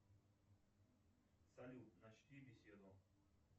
салют начни беседу